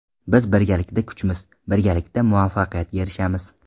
Biz birgalikda kuchmiz, birgalikda muvaffaqiyatga erishamiz!